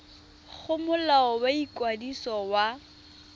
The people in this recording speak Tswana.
go molao wa ikwadiso wa